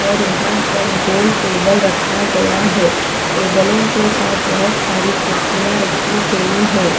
और यहाँ पर गोल टेबल रखा गया है टेबलों के साथ बहुत सारी कुर्सियाँ रखी गई हैं।